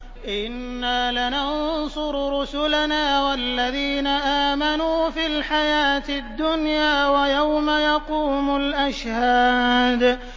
إِنَّا لَنَنصُرُ رُسُلَنَا وَالَّذِينَ آمَنُوا فِي الْحَيَاةِ الدُّنْيَا وَيَوْمَ يَقُومُ الْأَشْهَادُ